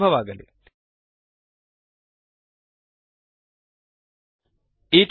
ಶುಭವಾಗಲಿ160